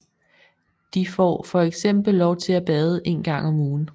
De får fx lov til at bade en gang om ugen